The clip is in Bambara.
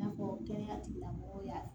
I n'a fɔ kɛnɛya tigilamɔgɔw y'a